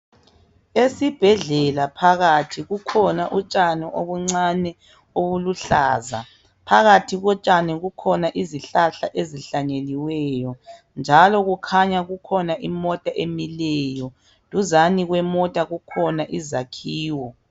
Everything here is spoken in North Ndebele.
esibhedlela phakathi kukhona utshani obuncane obuluhlaza phakathi kotshani kukhona izihlahla ezihlanyeliweyo njalo kukhanya kukhona imota emileyo duzane kwemota kukhona izakhiwo